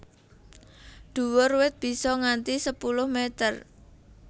Dhuwur wit bisa nganti sepuluh meter